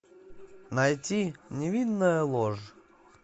найти невинная ложь